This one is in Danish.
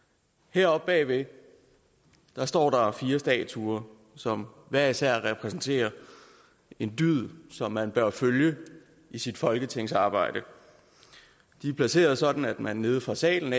heroppe bagved står der fire statuer som hver især repræsenterer en dyd som man bør følge i sit folketingsarbejde de er placeret sådan at man nede fra salen